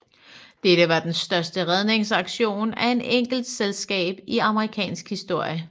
Dette var den største redningsaktion af et enkeltselskab i amerikansk historie